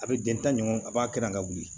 A bɛ den ta ɲɔgɔn a b'a kɛ na wuli